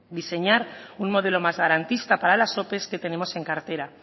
diseñar un modelo más garantista para las ope que tenemos en cartera